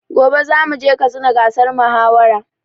Gobe zamu je katsina gasar mahawara